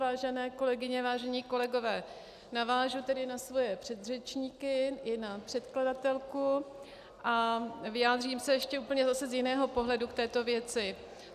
Vážené kolegyně, vážení kolegové, navážu tedy na své předřečníky i na předkladatelku a vyjádřím se ještě úplně zase z jiného pohledu k této věci.